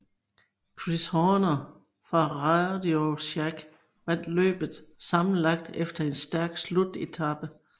Chris Horner fra RadioShack vandt løbet sammenlagt efter en stærk slutetape